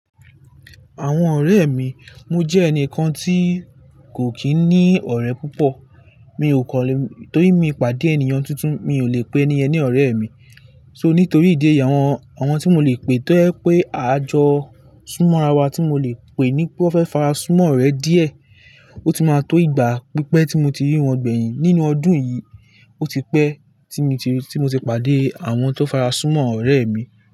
Àwọn ọ̀rẹ́ mi, mo jẹ́ ẹnìkan tí kò kí ní ọ̀rẹ́ púpọ̀. Mi ò kọ̀lé, torí mi pàdé ènìyàn tuntun, mi ò lè pè ẹ̀ní yen ni ọ̀rẹ́ mi. So nítorí ìdí èyí, àwọn, àwọn tí mò lè pè, tó ẹ pé a jọ súnmọ́ ara wa tí mò lè pè ní pé wọ́n fẹ́ farasumọ́ ọ̀rẹ́ díẹ̀. Ó ti máa tó ìgbà pípẹ́ tí mo ti rí wọn gbẹ̀yìn. Nínú ọdún yìí, ó ti pẹ́ tí mo ti, tí mo ti pàdé àwọn tó farasumọ́ ọ̀rẹ́ mi.